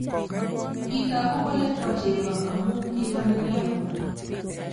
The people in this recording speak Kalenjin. Kitoku kole bo cheko amu kikanerio